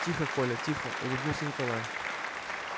тихо коля тихо улыбнулся николай